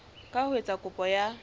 ka ho etsa kopo ya